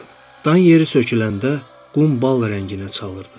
Dan yeri söküləndə qum bal rənginə çalırdı.